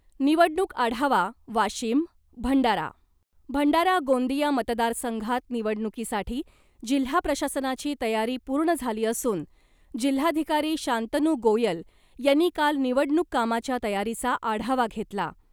निवडणूक आढावा, वाशीम , भंडारा. भंडारा गोंदिया मतदारसंघात निवडणुकीसाठी जिल्हा प्रशासनाची तयारी पूर्ण झाली असून जिल्हाधिकारी शांतनू गोयल यांनी काल निवडणूक कामाच्या तयारीचा आढावा घेतला .